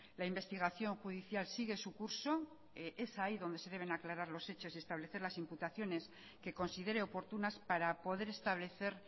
la investigación judicial sigue su curso es ahí donde se deben aclarar los hechos y establecer las imputaciones que considere oportunas para poder establecer